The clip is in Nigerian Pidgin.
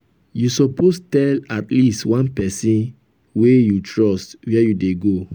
you suppose tell at least one pesin wey you trust where you dey go.